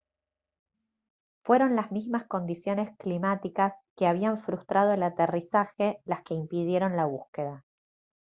fueron las mismas condiciones climáticas que habían frustrado el aterrizaje las que impidieron la búsqueda